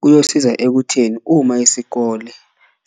Kuyosiza ekutheni uma isikole